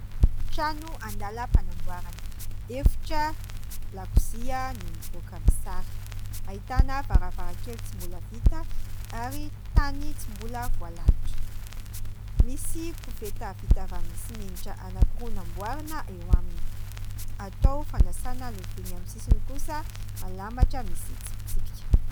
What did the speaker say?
Trano andalam-panamboarana efitra lakozia no mivoaka ny sary : ahitana varavarankely tsy mbola vita ary trano tsy mbola voalalotra, misy koveta vita avy amin'ny simenitra anankiroa namboarana eo aminy, atao fanasana lovia ny amin'ny sisiny kosa malama ohatra misy tsi pitsipika.